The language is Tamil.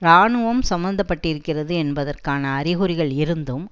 இராணுவம் சம்பந்த பட்டிருக்கிறது என்பதற்கான அறிகுறிகள் இருந்தும்